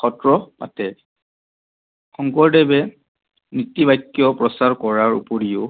সত্ৰ পাতে। শংকৰদেৱে নীতিবাক্য প্ৰচাৰ কৰাৰ ওপৰিও